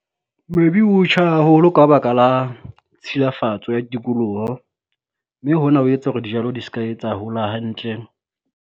Maybe o tjha haholo ka baka la tshilafatso ya tikoloho, mme hona ho etsa hore dijalo di ska etsa hola hantle.